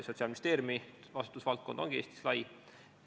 Sotsiaalministeeriumi vastutusvaldkond ongi Eestis lai.